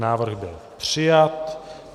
Návrh byl přijat.